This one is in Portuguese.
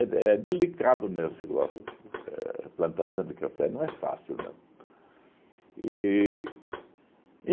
delicado, né, esse igual éh plantação de café, não é fácil, não. E